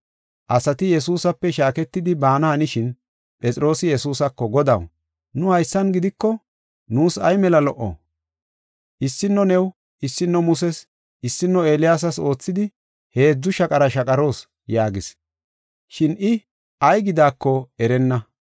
Asati Yesuusape shaaketidi baana hanishin, Phexroosi Yesuusako, “Godaw, nu haysan gidiko nuus ay mela lo77o! Issino new, issino Muses, issino Eeliyaasas oothidi, heedzu shaqara shaqaroos” yaagis. Shin I ay gidaako erenna.